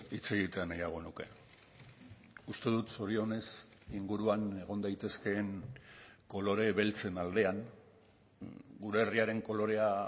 hitz egitea nahiago nuke uste dut zorionez inguruan egon daitezkeen kolore beltzen aldean gure herriaren kolorea